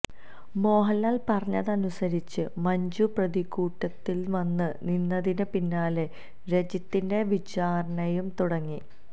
മോഹന്ലാല് പറഞ്ഞതനുസരിച്ച് മഞ്ജു പ്രതിക്കൂട്ടില് വന്ന് നിന്നതിന് പിന്നാലെ രജിത്തിന്റെ വിചാരണയും തുടങ്ങി